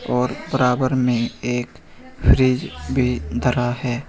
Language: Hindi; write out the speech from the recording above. और बराबर में एक फ्रिज भी धरा है।